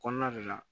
Kɔnɔna de la